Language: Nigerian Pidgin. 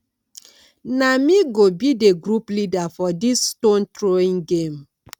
na me go be di group leader for dis stone throwing game